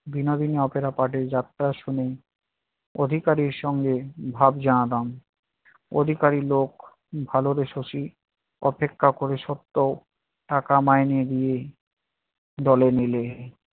ভিন্ন ভিন্ন opera party এর যাত্রা শুনে অধিকারীর সঙ্গে ভাব জমাতাম। অধিকারী লোক ভালবেসেছি, অপেক্ষা করে সত্ত্বেও টাকা মাইনে দিয়ে দলে নিলে